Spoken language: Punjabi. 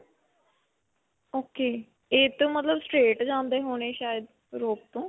ok. ਇਹ ਤਾਂ ਮਤਲਬ straight ਜਾਂਦੇ ਹੋਨੇ, ਸ਼ਾਇਦ rope ਤੋਂ.